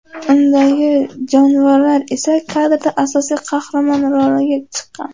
Undagi jonivorlar esa kadrda asosiy qahramon roliga chiqqan.